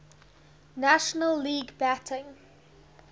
national league batting